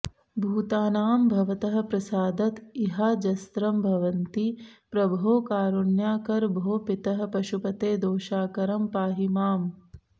भूतानां भवतः प्रसादत इहाजस्रं भवन्ति प्रभो कारुण्याकर भो पितः पशुपते दोषाकरं पाहि माम्